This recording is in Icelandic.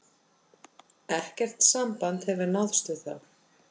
Ekkert samband hefur náðst við þá